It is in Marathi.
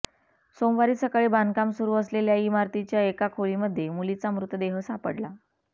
सोमवारी सकाळी बांधकाम सुरू असलेल्या इमारतीच्या एका खोलीमध्ये मुलीचा मृतदेह सापडला